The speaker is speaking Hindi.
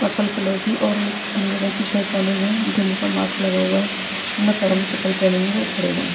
पर्पल कलर की और नीले रंग की शर्ट पहनी हुए है इनके मुह पर मास्क लगा हुआ है उन्हो ने पेरोमे चप्पल पहनी हुई है वे खड़े हुए है।